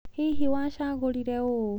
Hihi wacagũrire ũũ?